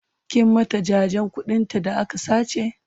kin mata jajen ƙuɗin ta da aka sace?